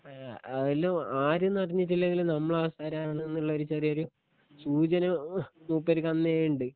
ഏ അയില് ആര്ന്ന് അറിഞ്ഞിട്ടില്ലെങ്കിലും നമ്മളാൾസാരാണ് എന്ന്ള്ളോര് ചെറിയൊരു സൂചന മൂപ്പര്ക്കന്നേണ്ട്